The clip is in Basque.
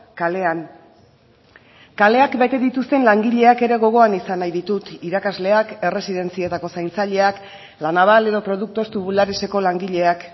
kalean kaleak bete dituzten langileak ere gogoan izan nahi ditut irakasleak erresidentzietako zaintzaileak la naval edo productos tubulareseko langileak